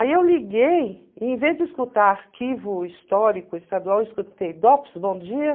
Aí eu liguei e em vez de escutar arquivo histórico estadual, eu escutei DOPS, bom dia.